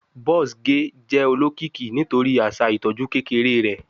Buzz ge jẹ olokiki nitori aṣa itọju kekere rẹ